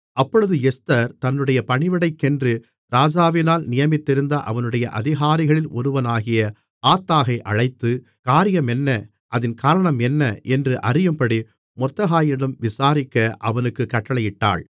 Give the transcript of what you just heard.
அப்பொழுது எஸ்தர் தன்னுடைய பணிவிடைக்கென்று ராஜாவினால் நியமித்திருந்த அவனுடைய அதிகாரிகளில் ஒருவனாகிய ஆத்தாகை அழைத்து காரியம் என்ன அதின் காரணம் என்ன என்று அறியும்படி மொர்தெகாயினிடம் விசாரிக்க அவனுக்குக் கட்டளையிட்டாள்